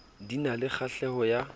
di na le kgahleho ya